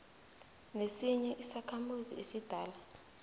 nesinye isakhamuzi esidala